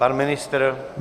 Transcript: Pan ministr?